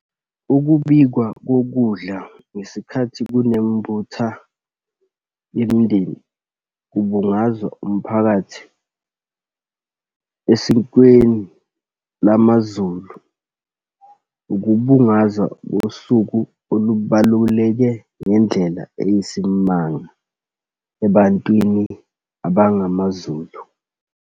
Ukubikwa kokudla ngesikhathi kunembutha yemindeni kubungazwa umphakathi esikweni lamaZulu, ukubungazwa kosuku olubaluleke ngendlela eyisimanga ebantwini abangamaZulu.